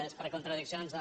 és per contradiccions al